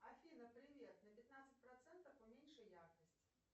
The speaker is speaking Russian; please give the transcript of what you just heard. афина привет на пятнадцать процентов уменьши яркость